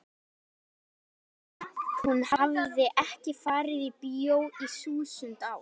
ég meina hún hafði ekki farið í bíó í þúsund ár.